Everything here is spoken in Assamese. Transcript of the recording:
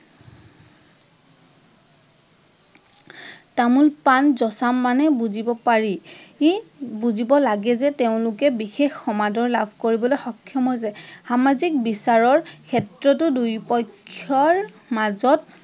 তামোল পাণ যঁচা মানে বুজিব পাৰি, বুজিব লাগে যে তেওঁলোকে বিশেষ সমাদৰ লাভ কৰিবলৈ সক্ষম হৈছে। সামাজিক বিচাৰৰ ক্ষেত্ৰতো দুয়ো পক্ষৰ মাজত